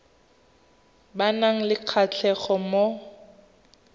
ba nang le kgatlhego mo